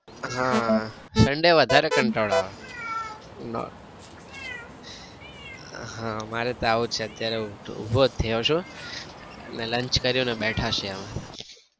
આહ sunday વધારે કંટાળો આવે. નો ઉહ મારે તાવ છે અત્યારે ઉભો જ થયો છું ને lunch કરીને બેઠા છીએ અમે.